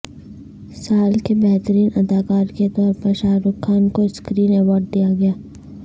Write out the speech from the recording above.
سال کے بہترین اداکار کے طور پر شاہ رخ خان کو سکرین ایوارڈ دیا گیا